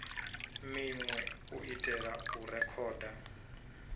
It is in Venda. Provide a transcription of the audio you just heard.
minwe u itela u rekhoda